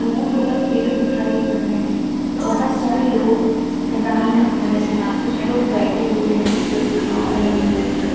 दूर बोहोत पेड़ दिखाई पड़ रहे हैं। बोहोत सारे लोग मैदान में खड़े हैं। कुछ लोग बैठे हुए हैं। कुछ खा रहे हैं बैठ कर।